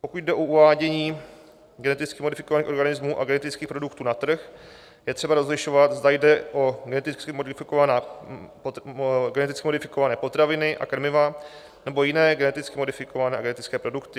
Pokud jde o uvádění geneticky modifikovaných organismů a genetických produktů na trh, je třeba rozlišovat, zda jde o geneticky modifikované potraviny a krmiva, nebo jiné geneticky modifikované a genetické produkty.